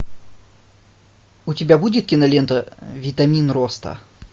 у тебя будет кинолента витамин роста